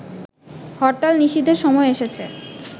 হরতাল নিষিদ্ধের সময় এসেছে